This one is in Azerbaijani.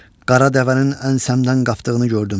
Qara dəvənin ənsəmdən qapdığını gördüm.